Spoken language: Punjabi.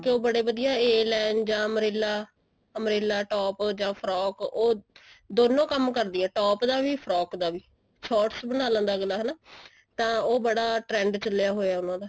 ਉਹ ਬੜੇ ਵਧੀਆ a line ਜਾਂ umbrella top ਜਾਂ frock ਉਹ ਦੋਨੋ ਕੰਮ ਕਰਦਿਆ top ਦਾ ਵੀ frock ਦਾ ਵੀ shorts ਬਣਾ ਲੈਂਦਾ ਅਗਲਾ ਹਨਾ ਤਾਂ ਉਹ ਬੜਾ trend ਚੱਲਿਆ ਹੋਇਆ ਉਹਨਾ ਦਾ